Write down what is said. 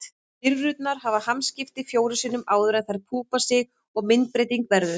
Þetta er eins og með litlu plastleikföngin sem æmta ef maður kreist